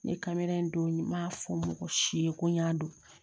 Ne kamera in don n b'a fɔ mɔgɔ si ye ko n y'a don